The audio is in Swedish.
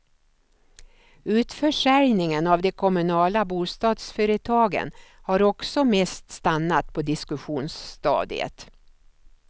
Utförsäljningen av de kommunala bostadsföretagen har också mest stannat på diskussionsstadiet.